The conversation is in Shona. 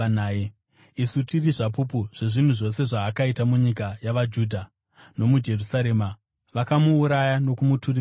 “Isu tiri zvapupu zvezvinhu zvose zvaakaita munyika yavaJudha nomuJerusarema. Vakamuuraya nokumuturika pamuti,